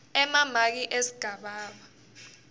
emamaki esigaba b